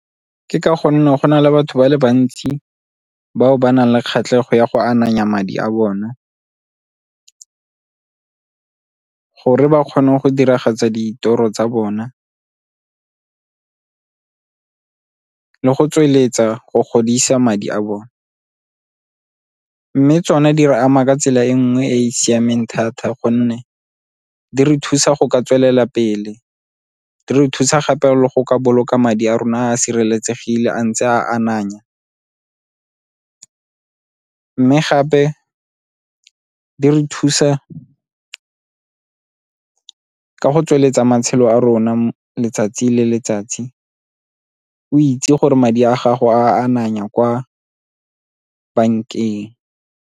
Ke ka gonne go na le batho ba le bantsi bao ba nang le kgatlhego ya go ananya madi a bona gore ba kgone go diragatsa ditoro tsa bona, le go tsweletsa go godisa madi a bone. Mme tsone di re ama ka tsela e nngwe e e siameng thata gonne di re thusa go ka tswelela pele di re thusa gape le go boloka madi a rona a sireletsegile a ntse a ananya, mme gape di re thusa ka go tsweletsa matshelo a rona letsatsi le letsatsi o itse gore madi a gago a ananya kwa bankeng.